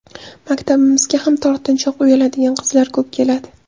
Maktabimizga ham tortinchoq, uyaladigan qizlar ko‘p keladi.